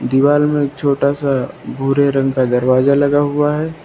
दीवाल में एक छोटा सा भूरे रंग का दरवाजा लगा हुआ है।